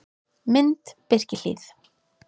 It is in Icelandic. Mynd: Birkihlíð